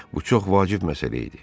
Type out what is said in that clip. Bu çox vacib məsələ idi.